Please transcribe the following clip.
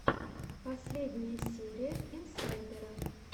последняя серия инсайдера